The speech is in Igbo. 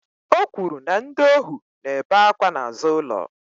O kwuru na ndị ohu na-ebe akwa n'azụ ụlọ